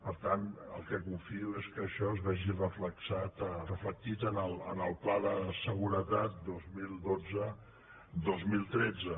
per tant el que confio és que això es vegi reflectit en el pla de seguretat dos mil dotze dos mil tretze